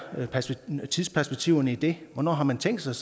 tidsperspektivet i det hvornår har man tænkt sig